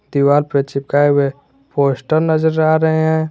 दीवार पे चिपकाए हुए पोस्टर नजर आ रहे हैं।